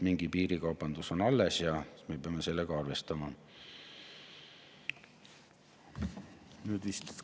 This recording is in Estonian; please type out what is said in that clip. Mingi piirikaubandus on alles ja me peame sellega arvestama.